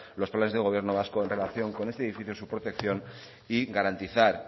los planes de gobierno vasco en relación con este edificio su protección y garantizar